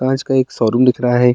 कांच का एक शोरूम दिख रहा है।